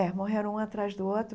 É, morreram um atrás do outro.